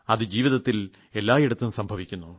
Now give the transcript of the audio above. അത് ജീവിതത്തിൽ എല്ലായിടത്തും സംഭവിക്കുന്നു